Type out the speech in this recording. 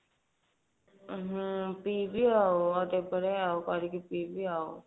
ହଁ ପିବି ଆଉ କେତେବେଳେ କରିକି ପି ବି ଆଉ